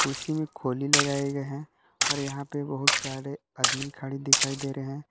मे खोली लगाए गए है और यहा पर बहुत सारे आदमीन खड़े दिखाई दे रहे है।